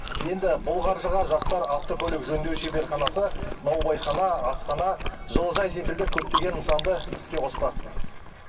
енді бұл қаржыға жастар автокөлік жөндеу шеберханасы наубайхана асхана жылыжай секілді көптеген нысанды іске қоспақ